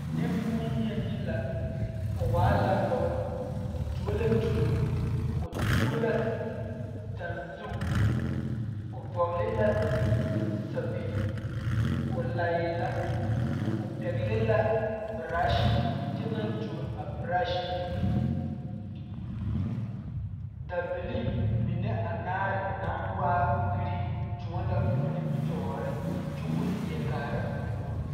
Neŋbonyei la o waa la pɔge o tuo la tuoobɔ o tuo la tanzuŋ o vɔgle la sɛpige o laɛɛ la o pɛgle la brashi kyɛ naŋ tuo a brash mine dabilii mine anaare naŋ waa green tõɔ la o nimitooreŋ kyo ko lieɛ kaara o puore.